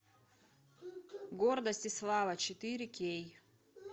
гордость и слава четыре кей